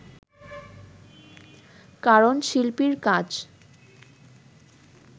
কারণ শিল্পীর কাজ